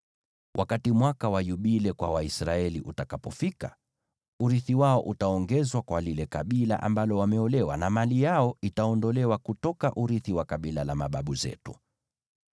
Wakati mwaka wa Yubile kwa Waisraeli utafika, urithi wao utaongezwa kwa lile kabila ambalo wameolewa, na mali yao itaondolewa kutoka urithi wa kabila la mababu zetu.”